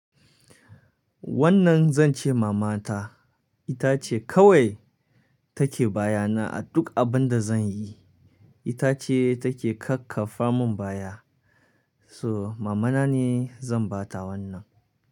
Wannan zan ce mama ta. Ita ce kawai take baya na a duk abun da zan yi. Ita ce take kakkafa mun baya. So mama na ne zan ba ta wannan.